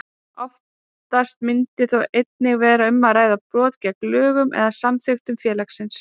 Oftast myndi þó einnig vera um að ræða brot gegn lögum eða samþykktum félagsins.